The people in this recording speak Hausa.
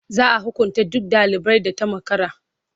Za a hukunta duk ɗalibar da ta makara.